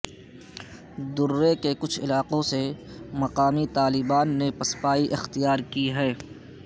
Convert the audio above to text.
درے کے کچھ علاقوں سے مقامی طالبان نے پسپائی اختیار کی ہے